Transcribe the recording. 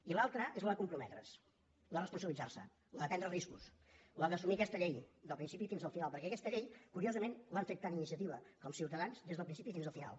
i l’altra és la de comprometre’s la de responsabilitzar se la de prendre riscos la d’assumir aquesta llei del principi fins al final perquè aquesta llei curio sament l’han fet tant iniciativa com ciutadans des del principi fins al final